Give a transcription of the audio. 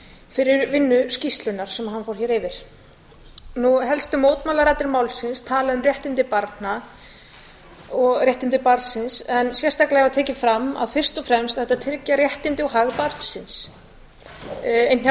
fyrir vinnu skýrslunnar sem hann fór hér fyrir helstu mótmælaraddir málsins tala um réttindi barnsins en sérstaklega var tekið fram að fyrst og fremst ætti að tryggja réttindi og hag barnsins hér hafa